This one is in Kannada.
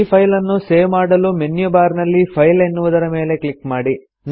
ಈ ಫೈಲನ್ನು ಸೇವ್ ಮಾಡಲು ಮೆನ್ಯು ಬಾರ್ ನಲ್ಲಿ ಫೈಲ್ ಎನ್ನುವುದರ ಮೇಲೆ ಕ್ಲಿಕ್ ಮಾಡಿ